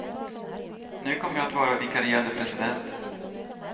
Nu kommer jag att vara vikarierande president.